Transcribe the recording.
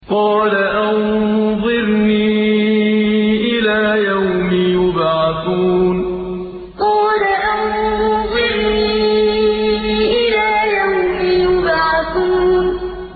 قَالَ أَنظِرْنِي إِلَىٰ يَوْمِ يُبْعَثُونَ قَالَ أَنظِرْنِي إِلَىٰ يَوْمِ يُبْعَثُونَ